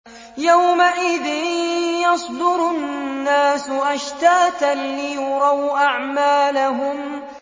يَوْمَئِذٍ يَصْدُرُ النَّاسُ أَشْتَاتًا لِّيُرَوْا أَعْمَالَهُمْ